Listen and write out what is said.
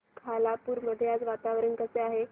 खालापूर मध्ये आज वातावरण कसे आहे